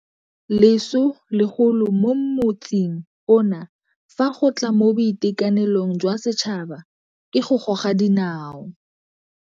Leso legolo mo motsing ono fa go tla mo boitekanelong jwa setšhaba ke go goga dinao.